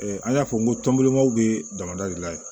an y'a fɔ n ko tɔnbilimanw bɛ damada de la yen